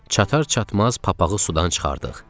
Çatar-çatmaz papağı sudan çıxartdıq.